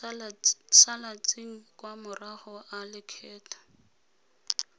salatseng kwa morago a lekgetho